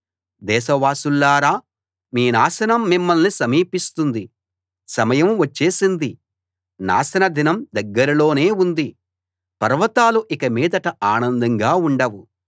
దేశవాసులారా మీ నాశనం మిమ్మల్ని సమీపిస్తుంది సమయం వచ్చేసింది నాశన దినం దగ్గరలోనే ఉంది పర్వతాలు ఇకమీదట ఆనందంగా ఉండవు